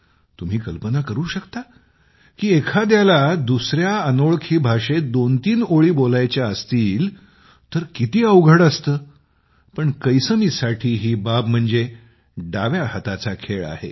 तुम्ही कल्पना करू शकता की एखाद्याला दुसऱ्या अनोळखी भाषेत दोनतीन ओळी बोलायच्या असतील तर किती अवघड असते पण कैसमीसाठी ही बाब म्हणजे हातचा मळ आहे